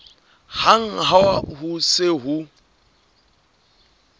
hang ha ho se ho